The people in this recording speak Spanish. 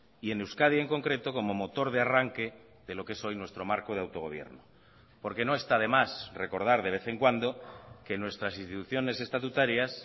y en euskadi en concreto como motor de arranque de lo que es hoy nuestro marco de autogobierno porque no está de más recordar de vez en cuando que nuestras instituciones estatutarias